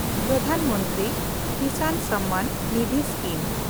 Pradhan Mantri Kisan Samman Nidhi scheme